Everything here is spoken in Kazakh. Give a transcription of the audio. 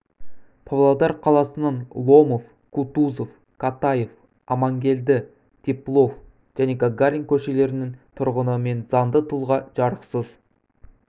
павлодар қаласының ломов кутузов катаев амангелді теплов және гагарин көшелерінің тұрғыны мен заңды тұлға жарықсыз